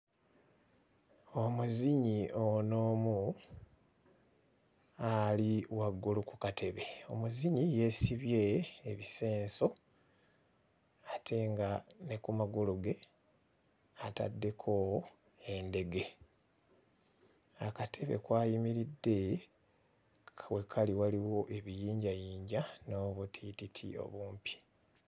Omuzinyi ono omu ali waggulu ku katebe, omuzinyi yeesibye ebisenso ate nga ne ku magulu ge ataddeko endege, akatebe kw'ayimiridde we kali waliwo ebiyinjayinja n'obutiititi obumpi.